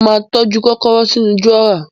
Mo ma tọ́jú kòkòrò sínú dùrọ́á